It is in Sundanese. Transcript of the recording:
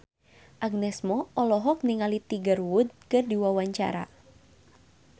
Agnes Mo olohok ningali Tiger Wood keur diwawancara